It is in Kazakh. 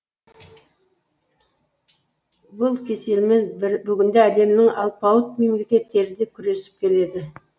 бұл кеселмен бүгінде әлемнің алпауыт мемлекеттері де күресіп келеді